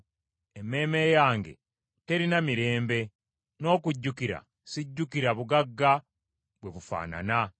Emmeeme yange terina mirembe, n’okujjukira sijjukira bugagga bwe bufaanana.